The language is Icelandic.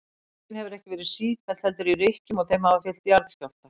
Hreyfingin hefur ekki verið sífelld heldur í rykkjum og þeim hafa fylgt jarðskjálftar.